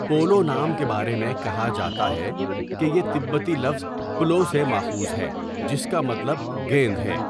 Polo نام کے بارے میں کہا جاتا ہے کہ یہ تبتی لفظ پلو' سے ماخوذ ہے، جس کا مطلب گیند ہے۔